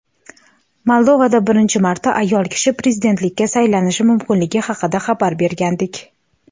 Moldovada birinchi marta ayol kishi prezidentlikka saylanishi mumkinligi haqida xabar bergandik.